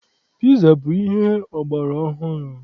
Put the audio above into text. Piza bụ ihe ọgbara ọhụrụ.